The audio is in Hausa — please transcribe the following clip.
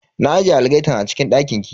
Na ajiye algaitan a cikin dakin ki.